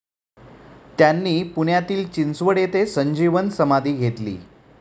त्यांनी पुण्यातील चिंचवड येथे संजीवन समाधी घेतली.